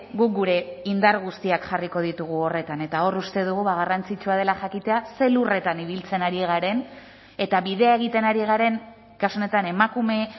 guk gure indar guztiak jarriko ditugu horretan eta hor uste dugu garrantzitsua dela jakitea zein lurretan ibiltzen ari garen eta bidea egiten ari garen kasu honetan emakume